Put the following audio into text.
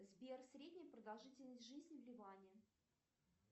сбер средняя продолжительность жизни в ливане